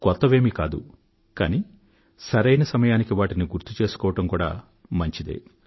కొత్తవేమీ కాదు కానీ సరైన సమయానికి వాటిని గుర్తుచేసుకోవడం కూడా మంచిదే